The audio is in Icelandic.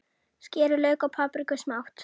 Skerið lauk og papriku smátt.